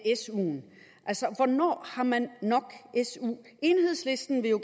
suen altså hvornår har man nok su enhedslisten vil jo